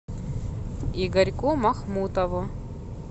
игорьку махмутову